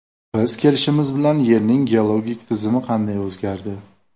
Biz kelishimiz bilan Yerning geologik tizimi qanday o‘zgardi?